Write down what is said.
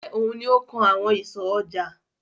Ṣé òun ni ó kan àwọn ìsọ̀ ọjà?